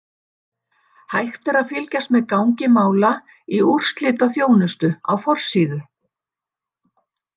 Hægt er að fylgjast með gangi mála í úrslitaþjónustu á forsíðu.